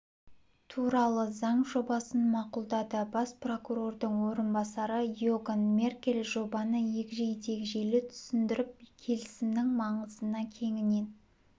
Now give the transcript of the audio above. туралы заң жобасын мақұлдады бас прокурордың орынбасары иоган меркель жобаны егжей-тегжейлі түсіндіріп келісімнің маңызына кеңінен